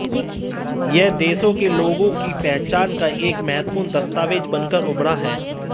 यह देशों के लोगों की पहचान का एक महत्वपूर्ण दस्तावेज बनकर उभरा है